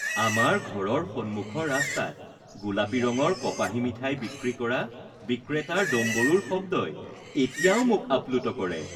আমাৰ ঘৰৰ সন্মুখৰ ৰাস্তাত গোলাপী ৰঙৰ কপাহী মিঠাই বিক্ৰী কৰা বিক্ৰেতাৰ ডম্বৰুৰ শব্দই এতিয়াও মোক আপ্লুত কৰে